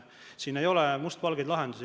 Siin ei ole mustvalgeid lahendusi.